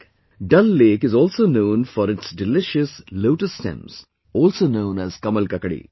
Dal Lake is also known for its delicious Lotus Stems, also known as 'Kamal Kakdi'